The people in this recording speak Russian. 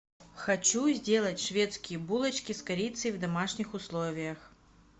хочу сделать шведские булочки с корицей в домашних условиях